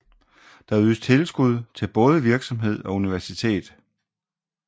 Der ydes tilskud til både virksomhed og universitet